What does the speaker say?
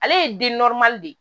Ale ye de ye